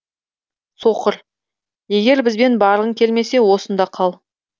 соқыр егер бізбен барғың келмесе осында қал